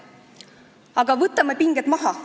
Aga võtame pinged maha.